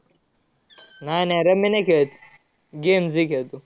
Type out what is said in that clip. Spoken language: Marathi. नाय, नाय. rummy नाय खेळत. games ही खेळतो.